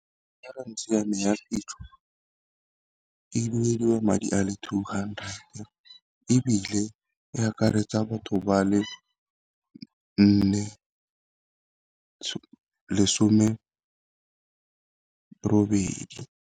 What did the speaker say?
Insurance ya me ya phitlho e duediwa madi a le two hundred, ebile e akaretsa batho ba le nne lesome robedi.